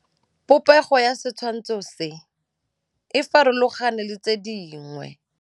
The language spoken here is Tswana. Popêgo ya setshwantshô se, e farologane le tse dingwe.